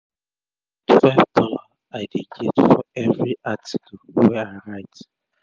na $75 i dey get for everi article wey i write